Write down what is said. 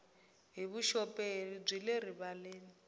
hi vuxoperi byi le rivaleni